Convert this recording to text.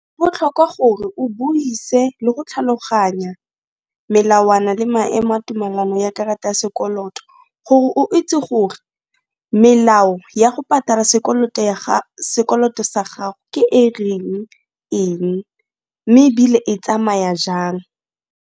Go botlhokwa gore o buise le go tlhaloganya melawana le maemo a tumalano ya karata ya sekoloto gore o itse gore melao ya go patala sekoloto sa gago ke e reng eng mme ebile e tsamaya jang.